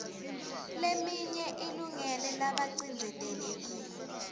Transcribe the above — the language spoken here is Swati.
leminye ilungele labacindzetelekile